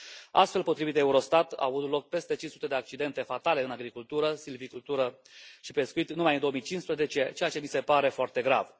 Astfel, potrivit Eurostat, au avut loc peste 500 de accidente fatale în agricultură, silvicultură și pescuit numai în 2015, ceea ce mi se pare foarte grav.